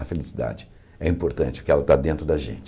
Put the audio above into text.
A felicidade é importante porque ela está dentro da gente.